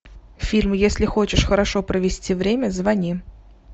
фильм если хочешь хорошо провести время звони